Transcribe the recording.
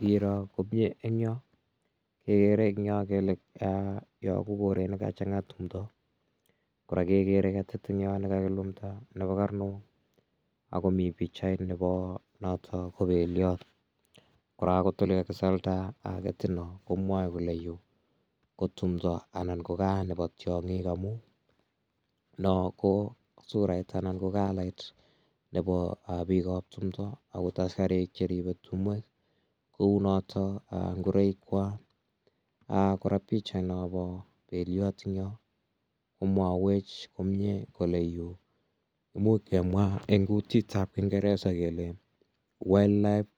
Ngiro komye eng' yo kekere eng' yo kele yo ko koret ne kachang'a timdo. Kora kekere ketit eng' yo ne kakilumda nepo karnok ako mi pichait nepo notok ko peliat. Kora akot ole kakisalda ketino komwae kole yu ko tumdo anan ko ka nepo tiang'ik amu no ko surait anan ko kalait nepo piik ap timda akot askarik che ripei timwek kou notok ngoroikwak. Kora pichainopo peliat eng' yo komwawech komye kole yu imuch kemwa eng' kutit ap kingeresa kele (c)wildlife